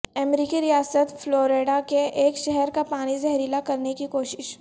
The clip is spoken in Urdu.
امریکی ریاست فلوریڈا کے ایک شہر کا پانی زہریلا کرنے کی کوشش